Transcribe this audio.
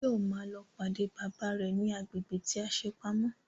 Báyọ̀ ma lọ pàdé bàbá rẹ̀ ní agbègbè tí a ṣe pamọ́